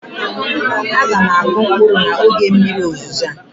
A ga m akụ mkpụrụ m n'oge mmiri ozizo a